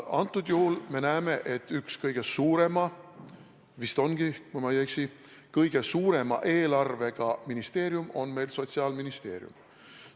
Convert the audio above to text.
Antud juhul me näeme, et üks kõige suurema – vist ongi, kui ma ei eksi, kõige suurema – eelarvega ministeerium on meil Sotsiaalministeerium.